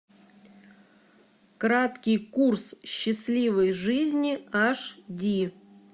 краткий курс счастливой жизни аш ди